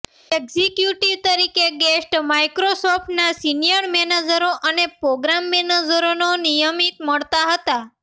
executive તરીકે Gates માઇક્રોસોફ્ટના senior મેનેજરો અને પ્રોગ્રામ મેનેજરોને નિયમિત મળતા હતા